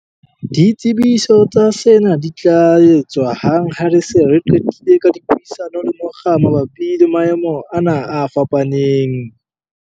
Ditsebiso tsa sena di tla etswa hang ha re se re qetile ka dipuisano le mokga mabapi le maemo ana a fapaneng.